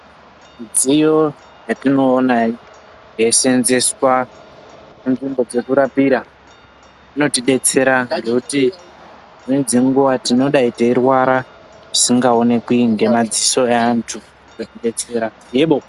Midziyo yatinoona yeiseeenzeswa panzvimbo dzekurapira , inotidetsera ngekuti dzimweni dzenguwa tinodai teirwara zvisingaoneki ngemadziso eantu eitidetsera yebo .